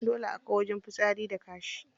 Dole akwai wajen fitsari da kashi.